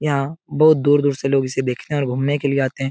यहाँ बहुत दूर-दूर से लोग इसे देखने और घूमने के लिए आते --